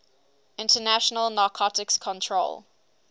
international narcotics control